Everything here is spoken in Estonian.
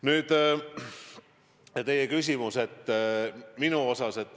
Nüüd, teie küsimus minu kohta.